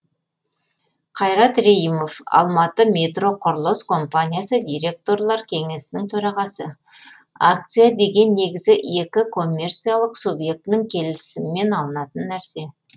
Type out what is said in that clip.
қайрат рейімов алматыметроқұрылыс компаниясы директорлар кеңесінің төрағасы акция деген негізі екі коммерциялық субъектінің келісімімен алынатын нәрсе